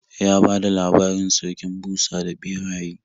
Ya bada labarin Sarkin Busa da Ɓeraye.